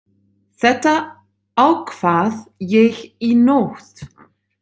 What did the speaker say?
Þetta ákvað ég í nótt.